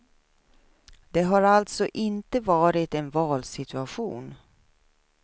Det har alltså inte varit en valsituation.